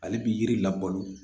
Ale bi yiri labalo